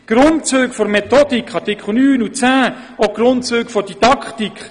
die Grundzüge der Methodik, gemäss Artikel 9 und 10; die Grundzüge der Didaktik;